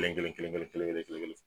kelen kelen kelen kelen kelen.